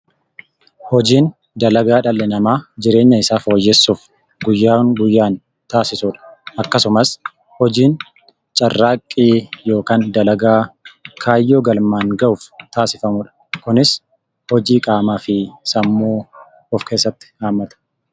Hojiin dalagaa dhalli namaa jireenya isaa fooyyessuuf guyyaa guyyaan taasisu dha. Akkasumas, hojiin carraaqqii yookaan dalagaa Kaayyoo galmaan ga'uuf taasifamu dha. Kunis, hojii qaamaa fi sammuu of keessatti hammata.